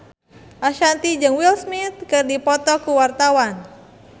Ashanti jeung Will Smith keur dipoto ku wartawan